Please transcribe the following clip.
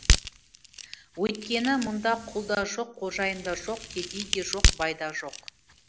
өйткені мұнда құл да жоқ қожайын да жоқ кедей де жоқ бай да жоқ